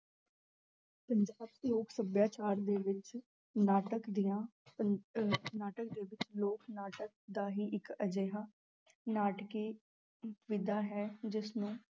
ਪੰਜਾਬ ਲੋਕ ਸਭਿਆਚਾਰ ਦੇ ਵਿੱਚ ਨਾਟਕ ਦੀਆਂ ਪ~ ਅਹ ਨਾਟਕ ਦੇ ਵਿੱਚ ਲੋਕ ਨਾਟਕ ਦਾ ਹੀ ਇੱਕ ਅਜਿਹਾ ਨਾਟਕੀ ਵਿਧਾ ਹੈ ਜਿਸਨੂੰ